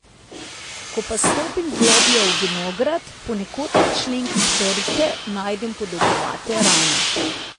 Ko pa stopim globlje v vinograd, ponekod na členkih trte najdem podolgovate rane.